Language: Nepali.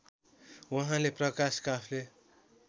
उहाँले प्रकाश काफ्ले